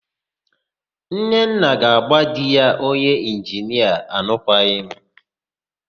Nnenna ga-agba di ya onye ịnginia alụkwaghịm